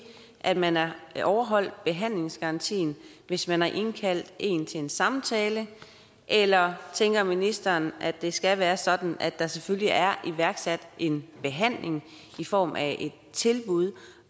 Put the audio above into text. at man har overholdt behandlingsgarantien hvis man har indkaldt en til en samtale eller tænker ministeren at det skal være sådan at der selvfølgelig er iværksat en behandling i form af et tilbud